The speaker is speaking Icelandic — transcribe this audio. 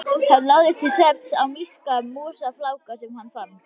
Hann lagðist til svefns á mýksta mosafláka sem hann fann.